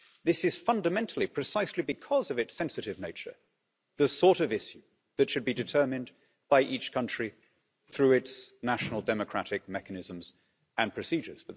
This is fundamentally precisely because of its sensitive nature the sort of issue that should be determined by each country through its national democratic mechanisms and procedures.